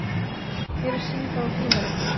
Hér er síða úr tímaritinu.